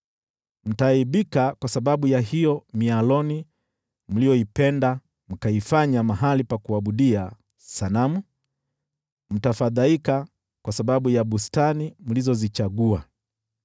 “Mtaaibika kwa sababu ya hiyo mialoni ambayo mlifurahia, mtafadhaika kwa sababu ya bustani mlizozichagua.